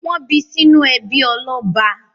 Wọ́n bí sínú ẹbí ọlọ́ba?